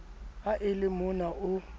ha e le mona o